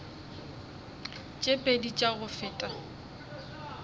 tše pedi tša go feta